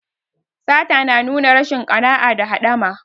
Sata na nuna rashin ƙana'a da haɗama.